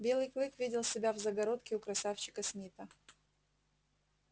белый клык видел себя в загородке у красавчика смита